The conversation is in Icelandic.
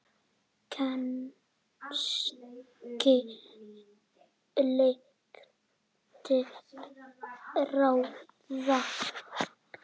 Kannski leita ráða.